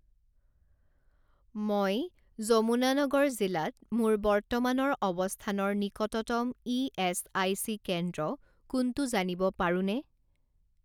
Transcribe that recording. মই যমুনানগৰ জিলাত মোৰ বৰ্তমানৰ অৱস্থানৰ নিকটতম ইএচআইচি কেন্দ্ৰ কোনটো জানিব পাৰোঁনে?